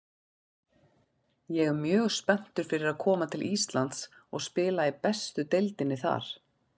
Ég er mjög spenntur fyrir að koma til Íslands og spila í bestu deildinni þar.